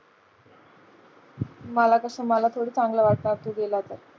मला कसं मला थोडी चांगलं असं